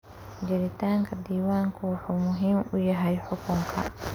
Jiritaanka diiwaanku wuxuu muhiim u yahay xukunka.